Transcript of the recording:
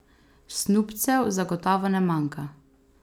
Snubcev zagotovo ne manjka.